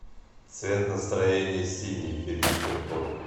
цвет настроения синий филипп киркоров